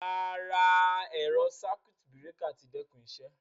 Ràrá, ẹ̀rọ̀ sákùt bíràkà tí dẹ́kún ìṣẹ